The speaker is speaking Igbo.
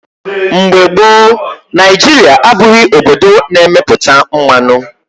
Mgbe gboo, Naijiria abụghị obodo na-emepụta mmanụ.